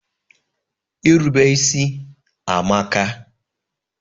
Irube isi amaka.